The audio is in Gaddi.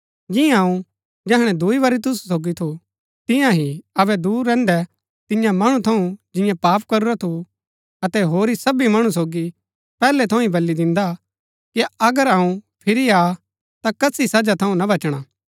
जियां अऊँ जैहणै दूई बरी तुसु सोगी थु तियां ही अबै दूर रैहन्दै तियां मणु थऊँ जियें पाप करूरा थु अतै होरी सबी मणु सोगी पैहलै थऊँ ही बली दिन्दा कि अगर अऊँ फिरी आ ता कसी सजा थऊँ ना बचणा